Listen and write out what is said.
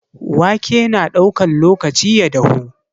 Waƙe na ɗaukan lokaci ya dahu.